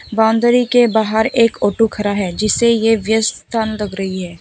Boundary के बाहर एक ऑटो खड़ा है जिससे यह व्यस्त स्थान लग रही है।